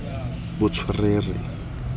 botswerere